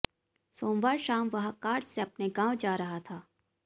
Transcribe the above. सोमवार शाम वह कार से अपने गांव जा रहा था